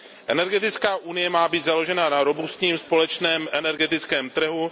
Energetická unie má být založena na robustním společném energetickém trhu.